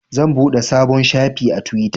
Zan buɗe sabon shafi a twitter.